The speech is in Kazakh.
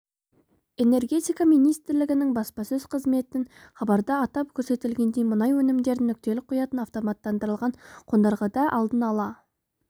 энергетика министрлігінің баспасөз қызметінен хабарда атап көрсетілгендей мұнай өнімдерін нүктелік құятын автоматтандырылған қондырғыда алдын ала